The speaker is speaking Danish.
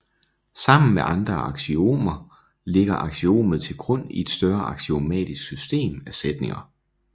Sammen med andre aksiomer ligger aksiomet til grund i et større aksiomatisk system af sætninger